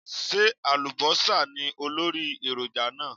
Ṣé àlùbọ́sà ní olórí èròjà náà?